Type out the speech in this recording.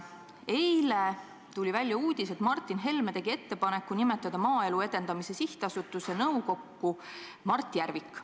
Eile tuli välja uudis, et Martin Helme tegi ettepaneku nimetada Maaelu Edendamise Sihtasutuse nõukokku Mart Järvik.